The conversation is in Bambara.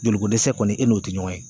Joliko dɛsɛ kɔni e n'o tɛ ɲɔgɔn ye.